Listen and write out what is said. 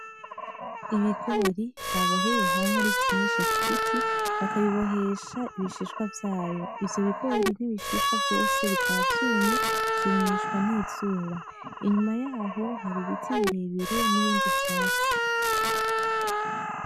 Ibigori baboheye hamwe ari vyinshi kugiti, bakabibohesha ibishishwa vyayo. Ivyo bigori n'ibishishwa vyose bikaba vyumye, vyumishwa n'izuba. Inyuma yaho hari ibiti birebire n'ibindi vyatsi.